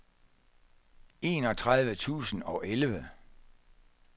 enogtredive tusind og elleve